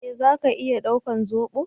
Eh zaka iya daukar zobo?